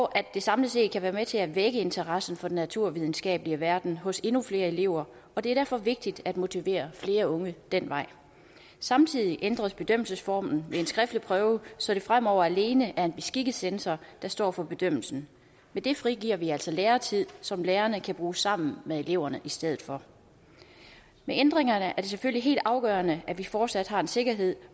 at det samlet set kan være med til at vække interessen for den naturvidenskabelige verden hos endnu flere elever og det er derfor vigtigt at motivere flere unge ad den vej samtidig ændres bedømmelsesformen ved en skriftlig prøve så det fremover alene er en beskikket censor der står for bedømmelsen med det frigiver vi altså lærertid som lærerne kan bruge sammen med eleverne i stedet for med ændringerne er det selvfølgelig helt afgørende at vi fortsat har en sikkerhed